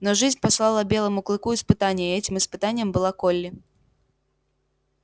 но жизнь послала белому клыку испытание и этим испытанием была колли